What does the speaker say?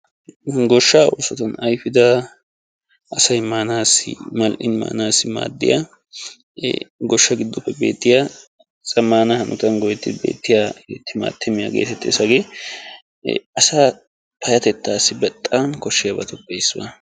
Goshaa oosottun ayfidda asay maanassi maaddiya goshaa gidoppe beetiya maanawu maaddiya timatimmiya hagee asaassi maanawu keehi maaddiyaaga.